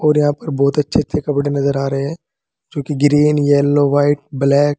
और यहां पर बहुत अच्छे अच्छे कपड़े नजर आ रहे हैं जो कि ग्रीन येलो व्हाइट ब्लैक --